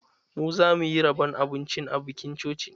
Mu zamuyi rabon abincin a bikin cocin.